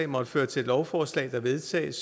måtte føre til et lovforslag der vedtages